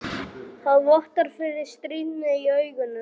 Það vottar fyrir stríðni í augunum.